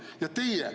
Aitäh!